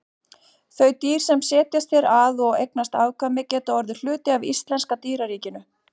Þau dýr sem setjast hér að og eignast afkvæmi geta orðið hluti af íslenska dýraríkinu.